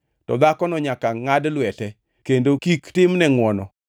to dhakono nyaka ngʼad lwete, kendo kik timne ngʼwono.